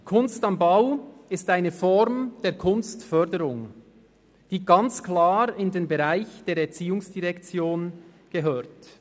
«Kunst am Bau» ist eine Form der Kunstförderung, die ganz klar in den Bereich der ERZ gehört.